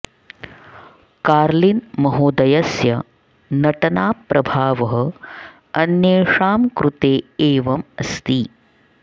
कार्लिन् महोदयस्य नटना प्रभावः अन्येषां कृते एवम् अस्ति